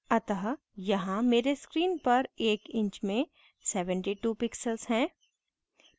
अतः यहाँ मेरे screen पर एक inch में 72 pixels है